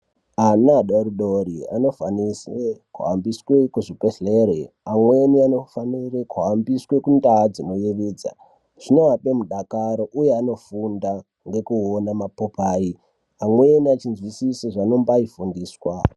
Ana adodori ano faniswe ku hambiswe kuzvi bhedhlere amweni anofanire kuhambiswe ku ndau dzino yevedza zvinovape mudakaro uye vano funda vei ona ma popai amweni echi nzwisise zva anombai fundiswa.